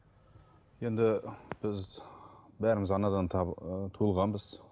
енді біз бәріміз анадан ы туылғанбыз